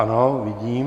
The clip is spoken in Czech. Ano, vidím.